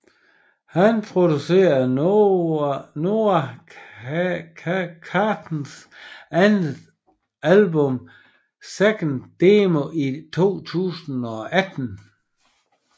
Han producerede Noah Carters andet album 2nd Demo i 2018